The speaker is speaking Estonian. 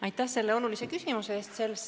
Aitäh selle olulise küsimuse eest!